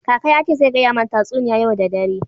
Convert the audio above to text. Kaka ya ce zai gaya mana tatsuniya yau da dare.